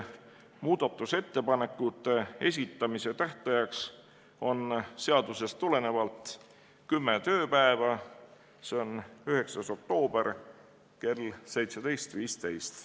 Muudatusettepanekute esitamise tähtaeg on seadusest tulenevalt kümme tööpäeva, seega 9. oktoober kell 17.15.